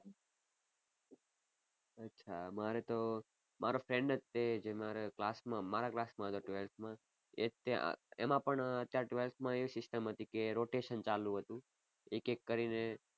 અચ્છા અમારે તો મારો friend જ તે જે મારા class માં મારા class માં હતો twelfth માં એ જ તે એમાં પણ અત્યારે twelfth માં એવી system હતી કે rotation ચાલુ હતું એક એક કરી ને